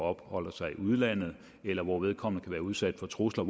opholder sig i udlandet eller hvor vedkommende kan være udsat for trusler